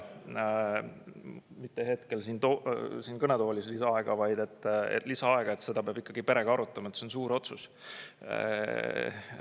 Ma ei palu mitte hetkel siin kõnetoolis lisaaega, vaid palusin lisaaega, et seda peab perega arutama, et see on suur otsus.